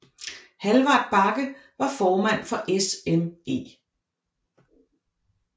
Hallvard Bakke var formand for SME